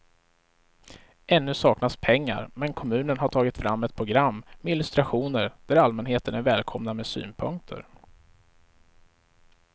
Ännu saknas pengar men kommunen har tagit fram ett program med illustrationer där allmänheten är välkomna med synpunkter.